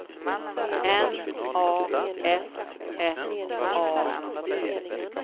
N A S S A U